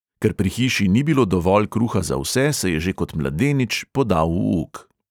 Ker pri hiši ni bilo dovolj kruha za vse, se je že kot mladenič podal v uk.